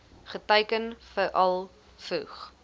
geteiken veral vroeg